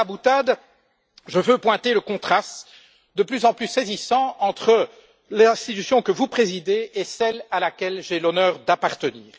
Mais au delà de la boutade, je veux pointer le contraste de plus en plus saisissant entre l'institution que vous présidez et celle à laquelle j'ai l'honneur d'appartenir.